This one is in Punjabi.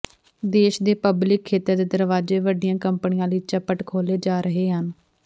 ਦੇਸ਼ ਦੇ ਪਬਲਿਕ ਖੇਤਰ ਦੇ ਦਰਵਾਜ਼ੇ ਵੱਡੀਆਂ ਕੰਪਨੀਆਂ ਲਈ ਚਪੱਟ ਖੋਲ੍ਹੇ ਜਾ ਰਹੇ ਹਨ